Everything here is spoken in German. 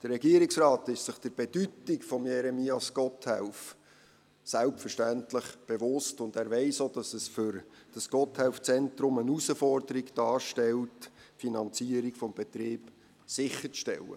Der Regierungsrat ist sich der Bedeutung von Jeremias Gotthelf selbstverständlich bewusst, und er weiss auch, dass es für dieses Gotthelf-Zentrum eine Herausforderung darstellt, die Finanzierung des Betriebs sicherzustellen.